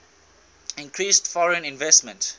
increased foreign investment